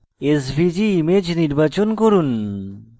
svg image নির্বাচন করুন